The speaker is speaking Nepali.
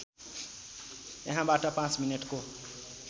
यहाँबाट ५ मिनेटको